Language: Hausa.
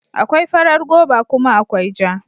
Akwai farar goba kuma akwai ja.